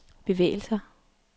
bevægelser